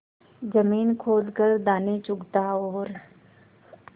जमीन खोद कर दाने चुगता और